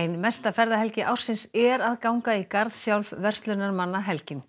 ein mesta ferðahelgi ársins er að ganga í garð sjálf verslunarmannahelgin